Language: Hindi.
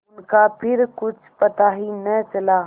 उनका फिर कुछ पता ही न चला